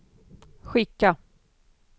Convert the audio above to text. skicka